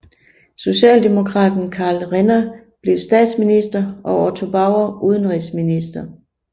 Socialdemokraten Karl Renner blev statsminister og Otto Bauer udenrigsminister